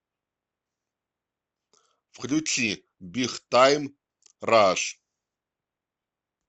включи биг тайм раш